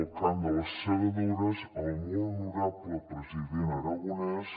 del cant de les segadores el molt honorable president aragonès